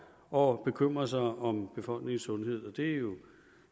og bekymre sig om befolkningens sundhed det er jo